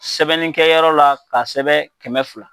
Sɛbɛnnikɛyɔrɔ la; k'a sɛbɛn kɛmɛ fila.